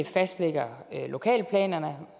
fastlægger lokalplanerne